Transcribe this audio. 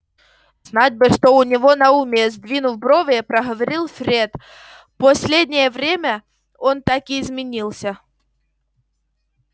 знать бы что у него на уме сдвинув брови проговорил фред последнее время он так изменился